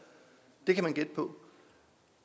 det kan vi gætte på